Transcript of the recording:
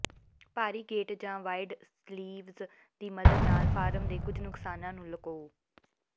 ਭਾਰੀ ਗੇਟ ਜਾਂ wide sleeves ਦੀ ਮਦਦ ਨਾਲ ਫਾਰਮ ਦੇ ਕੁਝ ਨੁਕਸਾਨਾਂ ਨੂੰ ਲੁਕਾਓ